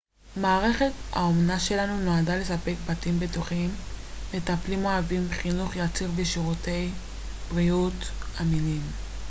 מערכת האומנה שלנו נועדה לספק בתים בטוחים מטפלים אוהבים חינוך יציב ושירותי בריאות אמינים